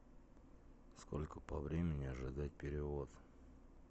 сколько по времени ожидать перевод